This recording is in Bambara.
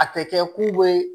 A tɛ kɛ ku be